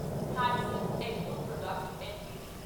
Hatsun agro product LTD